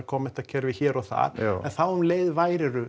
kommentakerfi hér og þar en þá um leið værirðu